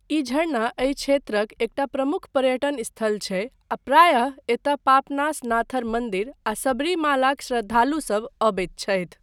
ई झरना एहि क्षेत्रक एकटा प्रमुख पर्यटन स्थल छै आ प्रायः एतय पापनासनाथर मन्दिर आ सबरीमालाक श्रद्धालुसभ अबैत छथि।